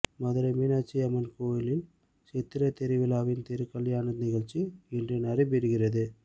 மதுரை மீனாட்சி அம்மன் கோயில் சித்திரைத் திருவிழாவின் திருக்கல்யாண நிகழ்ச்சி இன்று நடைபெறுகிறது